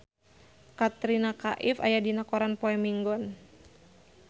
Katrina Kaif aya dina koran poe Minggon